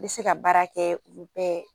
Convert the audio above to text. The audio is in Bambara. I be se ka baara kɛ olu bɛɛ